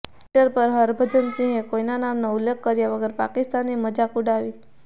Twitter પર હરભજન સિંહે કોઈના નામનો ઉલ્લેખ કર્યા વગર પાકિસ્તાનની મજાક ઉડાવી